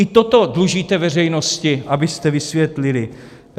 I toto dlužíte veřejnosti, abyste vysvětlili.